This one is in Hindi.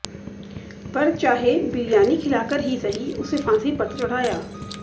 पर चाहे बिरयानी खिलाकर ही सही उसे फांसी पर तो चढ़ाया